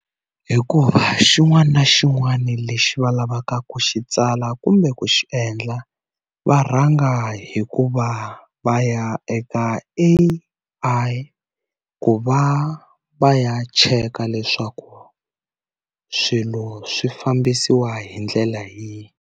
Hikuva xin'wana na xin'wana lexi va lavaka ku xi tsala kumbe ku xi endla va rhanga hikuva va ya eka A_I ku va va ya cheka leswaku swilo swi fambisiwa hi ndlela yihi.